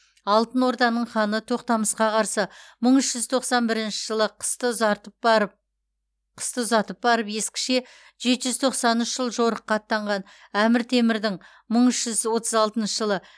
алтын орданың ханы тоқтамысқа қарсы мың үш жүз тоқсан бірінші жылы қысты ұзартып барып қысты ұзатып барып ескіше жеті жүз тоқсан үш жыл жорыққа аттанған әмір темірдің мың үш жүз отыз алтыншы жылы